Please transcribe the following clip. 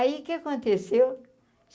Aí, o que aconteceu?